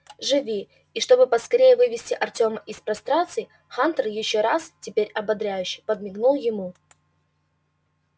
живи и чтобы поскорее вывести артёма из прострации хантер ещё раз теперь ободряюще подмигнул ему